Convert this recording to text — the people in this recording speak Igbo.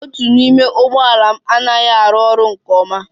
Otu n'ime ụgbọ ala m anaghị arụ ọrụ nke ọma